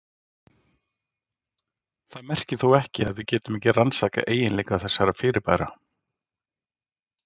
Það merkir þó ekki að við getum ekki rannsakað eiginleika þessara fyrirbæra.